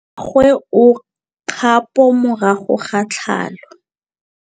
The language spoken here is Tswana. Mmagwe o kgapô morago ga tlhalô.